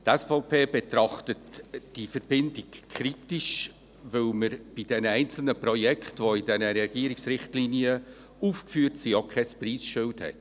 Die SVP betrachtet diese Verbindung kritisch, weil es bei den einzelnen Projekten, die in den Regierungsrichtlinien aufgeführt sind, kein Preisschild hat.